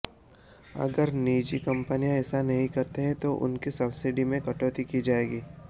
अगर निजी कंपनियां ऐसा नहीं करती हैं तो उनकी सब्सिडी में कटौती की जाएगी